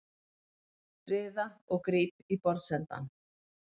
Riða og gríp í borðsendann.